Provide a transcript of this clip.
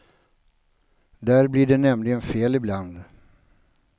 Där blir det nämligen fel ibland.